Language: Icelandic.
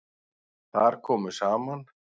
Þar komu saman